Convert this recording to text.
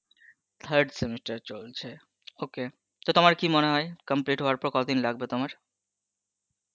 third semester চলছে, ok তো তোমার কি মনে হয়, complete হওয়ার পর কতদিন লাগবে তোমার?